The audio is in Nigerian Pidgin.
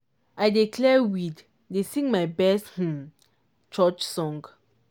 i dey clear weed dey sing my best um church song.